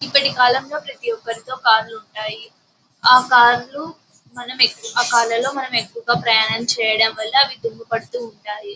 ఇప్పటి కాలంలో ప్రతి ఒకరితో కార్లు ఉంటాయి.ఆ కార్లు మనం ఎక్కువ కార్లు ప్రయాణించడం వాళ్ళ అవి దుమ్ము పడుతుంటాయి--